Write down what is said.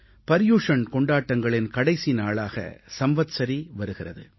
பர்யுஷண் கொண்டாட்டங்களின் கடைசி நாளாக சம்வத்ஸரீ வருகிறது